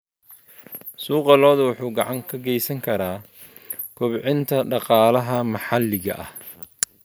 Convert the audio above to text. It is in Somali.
Suuqa lo'du wuxuu gacan ka geysan karaa kobcinta dhaqaalaha maxalliga ah.